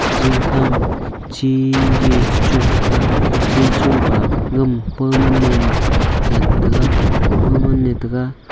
jing khama chi jey chagun tega chi chung pa gama pa ma nem zen tega pa ma ne tega.